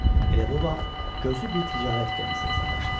Elə bu vaxt gözü bir ticarət gəmisinə sataşdı.